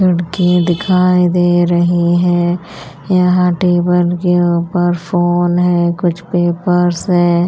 लड़की दिखाई दे रही है यहाँ टेबल के ऊपर फोन है कुछ पेपर्स हैं।